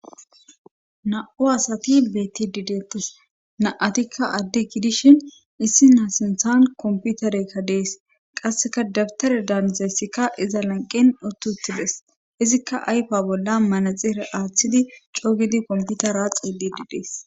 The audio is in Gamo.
naa7u asati beettidi deetes;na7atikka adde gidishin issina sinttan kompiterekka de7ees;qasseka dabtare daanizayssika iza lanqqen uttu uttides;izika ayfa bollan manaxire aattidi co gidi komppitara xeelliidi des.